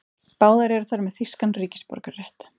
Báðar eru þær með þýskan ríkisborgararétt